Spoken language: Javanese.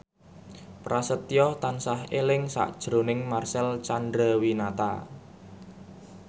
Prasetyo tansah eling sakjroning Marcel Chandrawinata